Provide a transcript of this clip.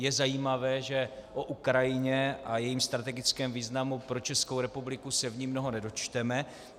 Je zajímavé, že o Ukrajině a jejím strategickém významu pro Českou republiku se v ní mnoho nedočteme.